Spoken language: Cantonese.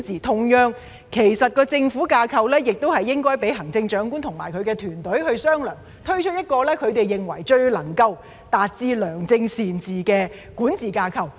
同樣地，政府架構亦應該讓行政長官與其團隊商量，推出一個他們認為最能夠達致良政善治的管治架構。